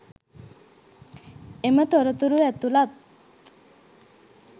එම තොරතුරු ඇතුළත්